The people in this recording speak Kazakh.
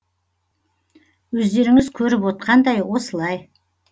өздеріңіз көріп отқандай осылай